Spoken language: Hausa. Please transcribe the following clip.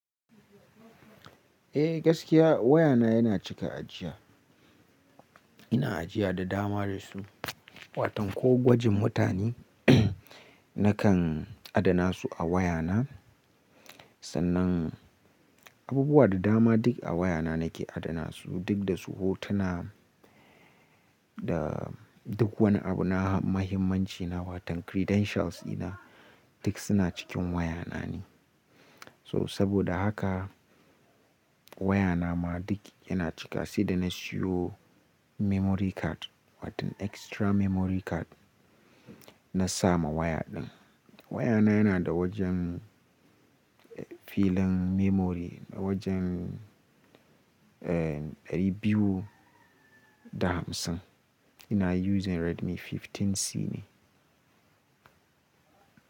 Eh gaskiya wayana yana cika ajiya. Ina ajiya da dama da su, watan ko gwajin mutane nakan adana su a wayana. Sannan abubuwa da dama duk a wayana nake adana su, duk da su hotuna da duk wani abu na mahimmanci na watan credentials ina duk suna cikin wayanani. So saboda haka wayana ma duk yana cika, sai da na siyo memory card watan extra memory card na sama waya din. Wayana yana da wajen filin memory da wajen, eh dari biyu da hamsin. Ina using Redmi 15C ne.